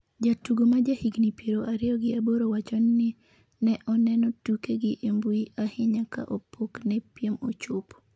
Jatugo ma ja higni piero ariyo gi aboro wachoni ne oneno tukegi e mbui ahinya ka pok ne piem ochopo